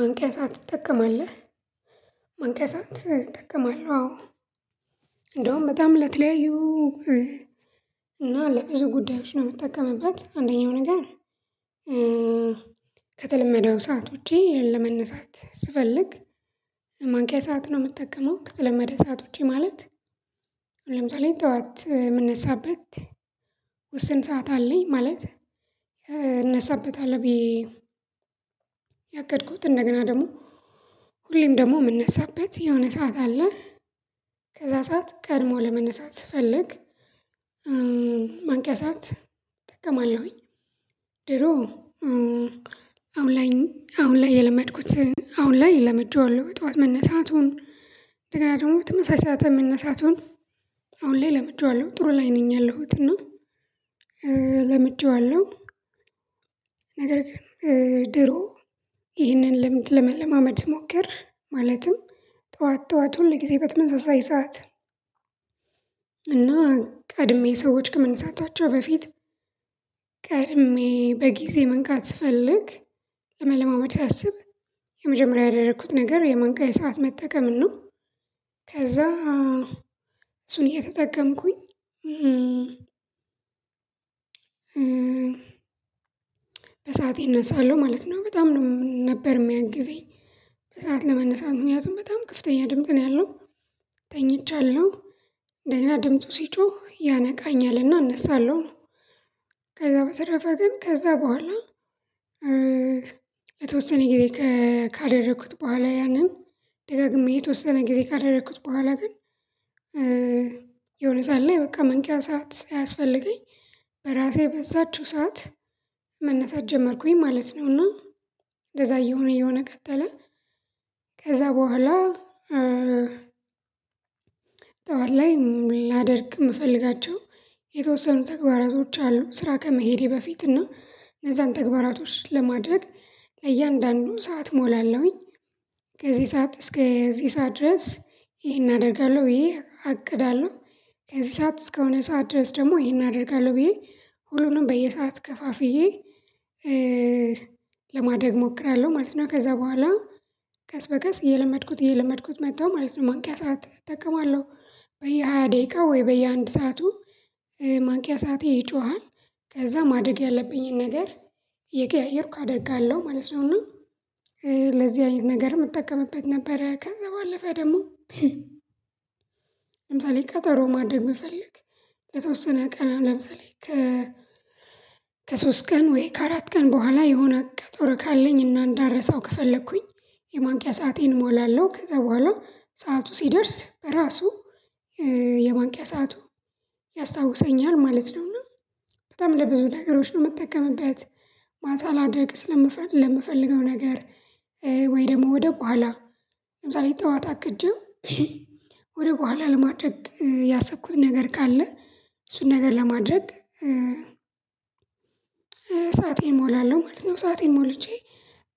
ማንቂያ ሰዓት ትጠቀማለህ? ማንቂያ ሰዓት እጠቀማለው አዎ። እንደውም በጣም ለተለያዩ እና ለብዙ ጉዳዮች ነው ምትጠቀምበት አንደኛው ነገር። ከተለመደው ሰዓት ውጪ ለመነሳት ስፈልግ ማንቂያ ሰዓት ነው ምጠቀመው ከተለመደ ሰዓት ውጪ ማለት። ለምሳሌ ጠዋት ምነሳበት ውስን ሰዓት አለኝ ማለት እነሳበታለው ብዬ። ያቀድኩት እንደገና ደግሞ ሁሌም ደግሞ ምነሳበት የሆነ ሰዓት አለ ከዛ ሰዓት ቀድሞ ለመነሳት ስፈልግ ማንቂያ ሰዓት እጠቀማለሁኝ። ድሮ አሁን ላይ አሁን ላይ የለመድኩት አሁን ላይ ለምጀዋለው ጠዋት መነሳቱን እንደገና ደግሞ ተመሳሳይ ሰዓት መነሳቱን አሁን ላይ ለምጀዋለው ጥሩ ላይ ነኝ ያለሁት እና ለምጀዋለው። ነገር ግን ድሮ ይህንን ልምድ ለመለማመድ ስሞክር ማለትም ጠዋት ጠዋት ሁል ጊዜ በተመሳሳይ ሰዓት። እና ቀድሜ ሰዎች ከመነሳታቸው በፊት ቀድሜ በጊዜ መንቃት ስፈልግ ለመለማመድ ሳስብ የመጀመሪያ ያደረኩት ነገር የማንቂያ ሰዓት መጠቀምን ነው። ከዛ እሱን እየተጠቀምኩኝ በሰአቴ እነሳለሁ ማለት ነው በጣም ነው ነበር ሚያግዘኝ። በሰአት ለመነሳት ምክንያቱም በጣም ክፍተኛ ድምጽ ነው ያለው ተኝቻለሁ እንደገና ድምፁ ሲጮህ ያነቃኛልና እነሳለሁ። ከዛ በተረፈ ግን ከዛ በኋላ የተወሰነ ጊዜ ካደረኩት በኋላ ያንን ደጋግሜ የተወሰነ ጊዜ ካደረኩት በኋላ ግን። የሆነ ሰዓት ላይ በቃ መንቂያ ሰዓት ሳያስፈልገኝ እራሴ በዛችው ሰዓት መነሳት ጀመርኩኝ ማለት ነው እና እንደዛ እየሆነ እየሆነ ቀጠለ። ከዛ በኋላ ጠዋት ላይ ላደርግ ምፈልጋቸው የተወሰኑ ተግባራቶች አሉ ስራ ከመሄዴ በፊት እና እነዛን ተግባራቶች ለማድረግ ለእያንዳንዱ ሰዓት ሞላለሁኝ። ከዚህ ሰዓት እስከ እዚህ ሰዓት ድረስ ይሄን አደርጋለሁ ብዬ አቅዳለሁ ከዚህ ሰዓት እስከሆነ ሰዓት ድረስ ደግሞ ይሄን አደርጋለሁ ብዬ ሁሉንም በየሰዓት ከፋፍዬ። ለማደግ ሞክራለሁ ማለት ነው ከዛ በኋላ ቀስ በቀስ እየለመድኩት እየለመድኩት መጥተው ማለት ነው ማንቂያ ሰዓት እጠቀማለሁ በየሃያ ደቂቃ ወይ በየአንድ ሰዓቱ ማንቂያ ሰዓቴ ይጮሃል። ከዛ ማድረግ ያለብኝን ነገር እየቀያየርኩ አደርጋለሁ ማለት ነው እና ለዚህ ነገር የምጠቀምበት ነበረ ከንዘብ አለፈ ደግሞ። ለምሳሌ ቀጠሮ ማድረግ ብፈልግ የተወሰነ ቀን ለምሳሌ ከ ከሶስት ቀን ወይ ከአራት ቀን በኋላ የሆነ ቀጠሮ ካለኝ እና እንዳልረሳው ከፈለኩኝ የማንቂያ ሰአቴን እሞላለሁ ከዛ በኋላ ሰዓቱ ሲደርስ እራሱ የማንቂያ ሰዓቱ ያስታውሰኛል ማለት ነው። እና በጣም ለብዙ ነገሮች ነው ምጠቀምበት። ማታ ላደርግ ለምፈልግ ለምፈልገው ነገር ወይ ደግሞ ወደ በኋላ ለምሳሌ ጠዋት አቅጄው ወደ በኋላ ለማድረግ ያሰብኩት ነገር ካለ እሱን ነገር ለማድረግ ሰአቴን ሞላለሁ ማለት ነው። ሰአቴን ሞልቼ